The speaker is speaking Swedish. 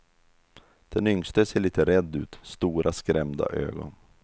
Den yngste ser lite rädd ut, stora skrämda ögon.